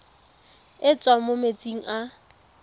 e tswang mo metsing a